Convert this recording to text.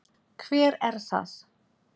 Hver er það?